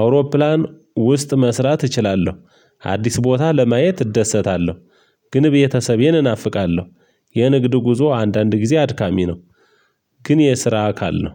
አውሮፕላን ውስጥ መስራት እችላለሁ። አዲስ ቦታ ለማየት እደሰታለሁ። ግን ቤተሰቤን እናፍቃለሁ። የንግድ ጉዞ አንዳንድ ጊዜ አድካሚ ነው። ግን የስራ አካል ነው።